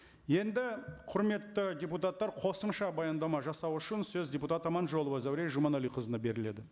енді құрметті депутаттар қосымша баяндама жасау үшін сөз депутат аманжолова зәуреш жұманәліқызына беріледі